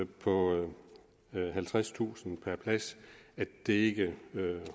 på halvtredstusind kroner per plads at det ikke